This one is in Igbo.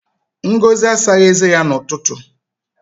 Ngozi asaghị eze ya n'ụtụtụ.